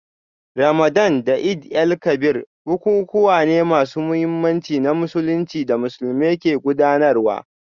Ramadan da Eid-el-Kabir bukukuwa ne masu muhimmanci na Musulunci da Musulmai ke gudanarwa